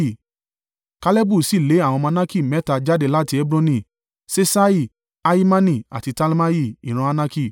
Kalebu sì lé àwọn ọmọ Anaki mẹ́ta jáde láti Hebroni; Ṣeṣai, Ahimani, àti Talmai, ìran Anaki.